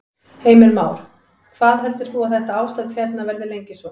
Heimir Már: Hvað heldur þú að þetta ástand hérna verði lengi svona?